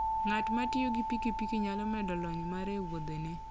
Ng'at ma tiyo gi piki piki nyalo medo lony mare e wuodhene.